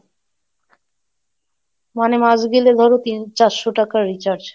মানে মাস গেলে ধরো তিন চারশো টাকার recharge,